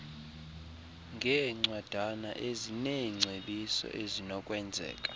ngeencwadana ezineengcebiso ezinokwenzeka